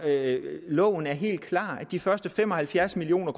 loven er helt klar de første fem og halvfjerds million